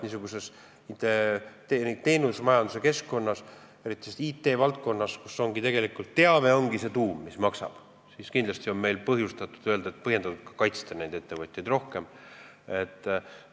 Niisuguses teenusmajanduse keskkonnas, eriti IT-valdkonnas, ongi tegelikult teave see tuum, mis maksab, ning kindlasti on põhjendatud ettevõtjaid rohkem kaitsta.